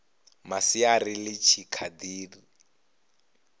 masiari ḽi tshi kha ḓi